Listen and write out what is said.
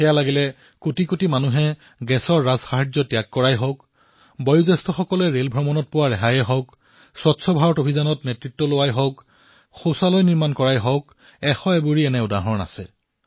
সেয়া লাগিলে কোটি কোটি লোকে গেছৰ সাহায্য ত্যাগ কৰাই হওক লক্ষাধিক জ্যেষ্ঠ নাগৰিকে ৰেলৱেৰ সাহায্য ত্যাগ কৰাই হওক স্বচ্ছ অভিযানৰ নেতৃত্ব গ্ৰহণ কৰাই হওক অথবা টয়লেট নিৰ্মাণেই হওক এনে অসংখ্য কথা আছে